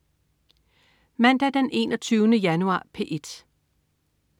Mandag den 21. januar - P1: